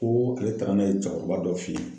Ko ale taara n'a ye cɛkɔrɔba dɔ fe yen